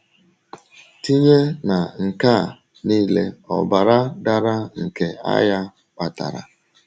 Tìnyè ná nke à niile ọ̀bara dàrà nke àghà kpatàrà.